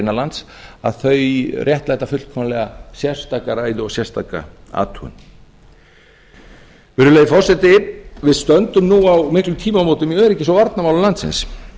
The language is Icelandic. innanlands að þau réttlæta fullkomlega sérstaka ræðu og sérstaka athugun virðulegi forseti við stöndum nú á miklum tímamótum í öryggis og varnarmálum landsins